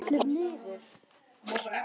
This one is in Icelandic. Ennið skellur niður.